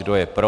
Kdo je pro?